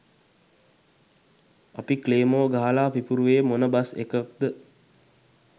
අපි ක්ලේමෝ ගහලා පිපුරුවේ මොන බස් එකක්ද